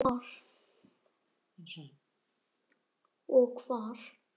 Og hvar.